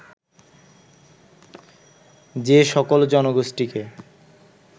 যে সকল জনগোষ্ঠীকে